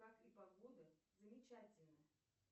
как и погода замечательно